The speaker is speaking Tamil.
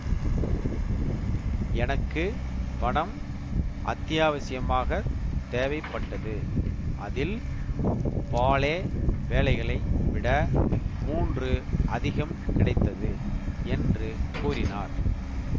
எனக்கு பணம் அத்தியாவசியமாகத் தேவைப்பட்டது அதில் பாலே வேலைகளை விட மூன்று அதிகம் கிடைத்தது என்று கூறினார்